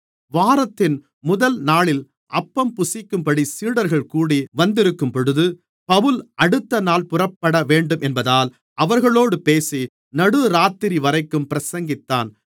வாரத்தின் முதல்நாளில் அப்பம் புசிக்கும்படி சீடர்கள் கூடி வந்திருக்கும்பொழுது பவுல் அடுத்தநாள் புறப்படவேண்டும் என்பதால் அவர்களோடு பேசி நடுராத்திரிவரைக்கும் பிரசங்கித்தான்